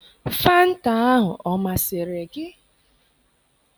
Fanta ahụ ọ masịrị gị?